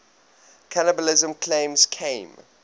cannibalism claims came